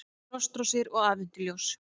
Frostrósir og aðventuljós